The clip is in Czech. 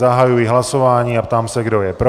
Zahajuji hlasování a ptám se, kdo je pro.